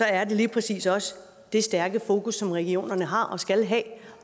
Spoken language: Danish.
er det lige præcis også det stærke fokus som regionerne har og skal have